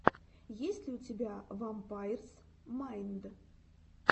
есть ли у тебя вампайрс майнд